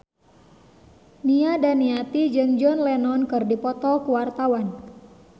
Nia Daniati jeung John Lennon keur dipoto ku wartawan